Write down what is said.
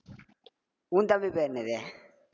உன் தம்பி பேர் என்னது